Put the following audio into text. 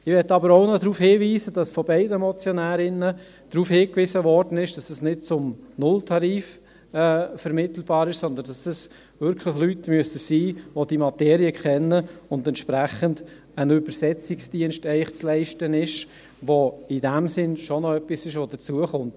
Ich möchte auch noch darauf hinweisen, dass von beiden Motionärinnen darauf hingewiesen wurde, dass dies nicht zum Nulltarif vermittelbar ist, sondern dass es wirklich Leute sein müssen, die die Materie kennen und entsprechend ein Übersetzungsdienst zu leisten ist, der in diesem Sinn schon noch etwas ist, das hinzukommt.